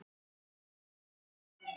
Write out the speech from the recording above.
Hollt fyrir sálina.